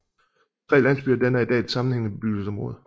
De tre landsbyer danner i dag et sammenhængende bebyggelseområde